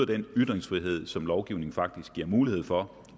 den ytringsfrihed som lovgivningen faktisk giver mulighed for